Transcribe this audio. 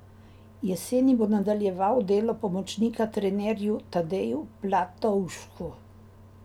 Jeseni bo nadaljeval delo pomočnika trenerju Tadeju Platovšku.